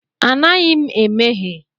Anaghị m emehie.